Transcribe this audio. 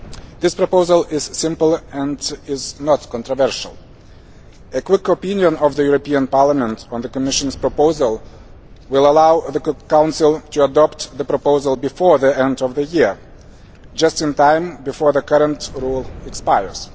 This proposal is simple and is not controversial. A quick opinion of the European Parliament on the Commission's proposal will allow the Council to adopt the proposal before the end of the year just in time, before the current rule expires.